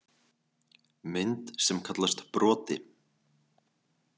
Mynd sem kallast broti.